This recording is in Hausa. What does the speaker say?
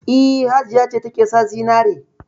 E, Hajiya ce take sa zinare.